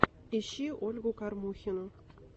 ищи ольгу кормухину